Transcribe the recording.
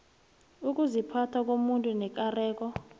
ukuziphatha komuntu nekareko